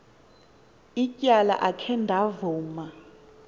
ityala akhe ndavuma